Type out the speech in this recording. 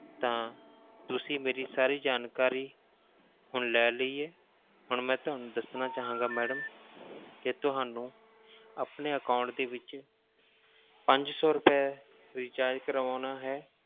ਤਾਂ ਤੁਸੀਂ ਮੇਰੀ ਸਾਰੀ ਜਾਣਕਾਰੀ ਹੁਣ ਲੈ ਲਈ ਹੈ, ਹੁਣ ਮੈਂ ਤੁਹਾਨੂੰ ਦੱਸਣਾ ਚਾਹਾਂਗਾ madam ਕਿ ਤੁਹਾਨੂੰ ਆਪਣੇ account ਦੇ ਵਿੱਚ ਪੰਜ ਸੌ ਰੁਪਏ recharge ਕਰਵਾਉਣਾ ਹੈ,